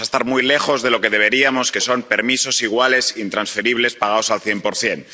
Vamos a estar muy lejos de lo que deberíamos, que son permisos iguales e intransferibles, pagados al cien por cien.